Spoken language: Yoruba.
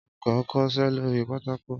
Õlúkõ n kõsé lórí pátákó